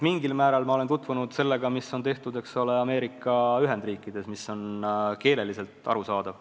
Mingil määral ma olen tutvunud sellega, mis on tehtud Ameerika Ühendriikides – see on keelelt arusaadav.